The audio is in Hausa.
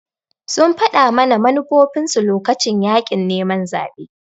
sun faɗa mana manufofinsu lokacin yaƙin neman zaɓe